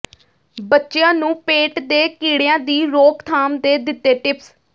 ਬੱਚਿਆਂ ਨੂੰ ਪੇਟ ਦੇ ਕੀੜਿਆਂ ਦੀ ਰੋਕਥਾਮ ਦੇ ਦਿੱਤੇ ਟਿਪਸ